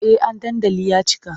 Eh an dandali ya cika.